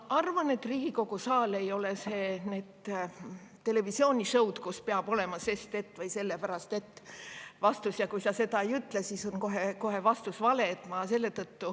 Ma arvan, et Riigikogu ei ole mingi televisioonisõu, kus peab olema vastuse "sest et" või "sellepärast et" ja kui sa seda ei ütle, siis on kohe vastus vale.